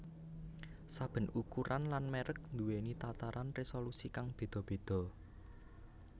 Saben ukuran lan mèrek duwèni tataran résolusi kang béda béda